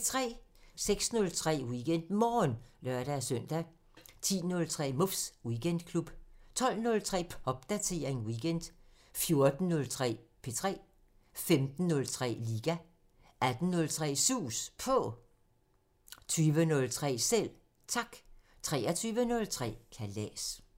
08:03: WeekendMorgen (lør-søn) 10:03: Muffs Weekendklub 12:03: Popdatering weekend 14:03: P3 15:03: Liga 18:03: Sus På 20:03: Selv Tak 23:03: Kalas